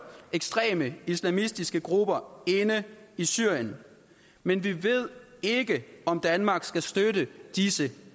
ekstreme islamistiske grupper inde i syrien men vi ved ikke om danmark skal støtte disse